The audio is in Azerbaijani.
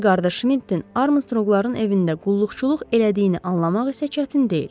Hildeqar Şmidtin Armstrongların evində qulluqçuluq elədiyini anlamaq isə çətin deyil.